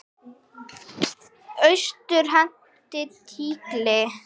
Austur henti tígli.